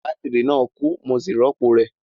Bátírì náà kú, mo sì rọ́pò rẹ̀